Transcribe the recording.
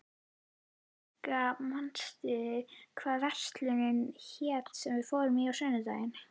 Hinrikka, manstu hvað verslunin hét sem við fórum í á sunnudaginn?